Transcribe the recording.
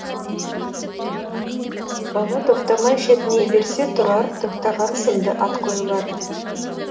бала тоқтамай шетіней берсе тұрар тоқтаған сынды ат қойылады